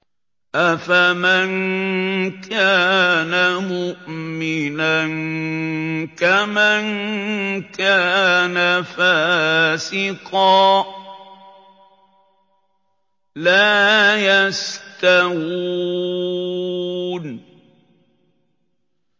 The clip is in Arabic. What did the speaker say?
أَفَمَن كَانَ مُؤْمِنًا كَمَن كَانَ فَاسِقًا ۚ لَّا يَسْتَوُونَ